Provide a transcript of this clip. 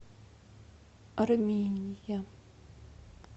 армения